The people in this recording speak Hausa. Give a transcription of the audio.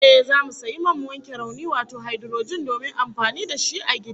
Ehh, zamu sayi man wanke rauni wato haidurojin domin amfani da shi a gida